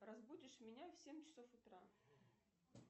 разбудишь меня в семь часов утра